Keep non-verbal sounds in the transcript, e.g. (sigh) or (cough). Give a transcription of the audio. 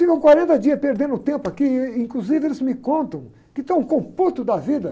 Ficam quarenta dias perdendo tempo aqui, e inclusive eles me contam que estão com o (unintelligible) da vida.